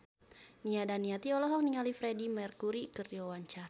Nia Daniati olohok ningali Freedie Mercury keur diwawancara